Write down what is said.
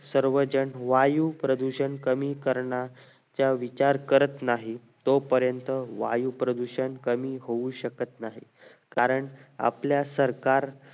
सर्वजण वायू प्रदूषण कमी करण्याचा विचार करत नाही तो पर्यंत वायू प्रदूषण कमी होऊ शकत नाही कारण आपल्या सरकार